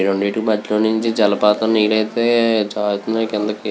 ఈ రెండిటి మధ్యలోనుంచి జలపాతం నేరు అయితె జారుతున్నాయ్ కిందికి.